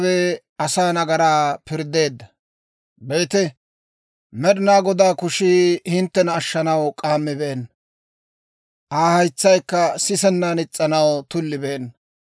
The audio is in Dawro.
Be'ite, Med'inaa Godaa kushii hinttena ashshanaw k'aammibeenna; Aa haytsaykka sisennan is's'anaw tullibeenna.